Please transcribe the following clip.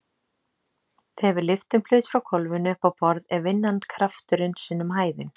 Þegar við lyftum hlut frá gólfinu upp á borð er vinnan krafturinn sinnum hæðin.